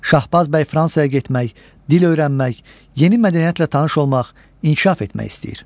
Şahbaz bəy Fransaya getmək, dil öyrənmək, yeni mədəniyyətlə tanış olmaq, inkişaf etmək istəyir.